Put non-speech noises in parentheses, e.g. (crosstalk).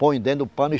Põe dentro do pano. e (unintelligible)